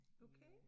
Okay